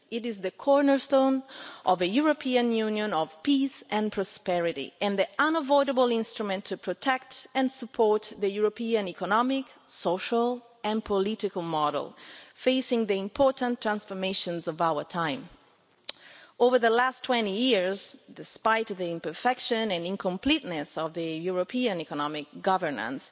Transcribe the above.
It is the cornerstone of a European Union of peace and prosperity and the indispensable instrument for protecting and supporting the European economic, social and political model as we face the important transformations of our time. Over the past 20 years despite the imperfection and incompleteness of European economic governance